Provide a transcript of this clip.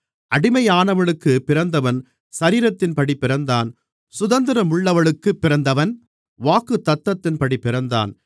அடிமையானவளுக்குப் பிறந்தவன் சரீரத்தின்படி பிறந்தான் சுதந்திரமுள்ளவளுக்குப் பிறந்தவன் வாக்குத்தத்தத்தின்படி பிறந்தான்